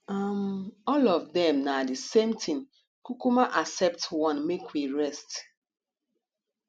um all of dem na the same thing kukuma accept one make we rest